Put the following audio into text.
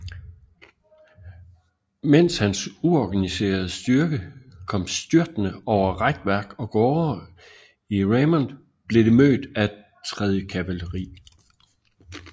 Mens hans uorganiserede styrke kom styrtende over rækværk og gårde i Raymond blev det mødt af 3